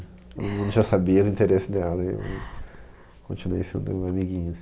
Todo mundo já sabia do interesse dela e eu continuei sendo um amiguinho.